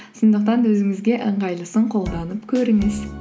сондықтан да өзіңізге ыңғайлысын қолданып көріңіз